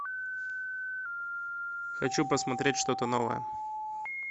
хочу посмотреть что то новое